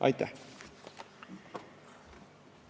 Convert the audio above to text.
Aitäh!